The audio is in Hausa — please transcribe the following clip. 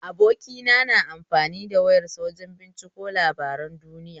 Abokina na amfani da wayar sa wajen binciko labaran duniya.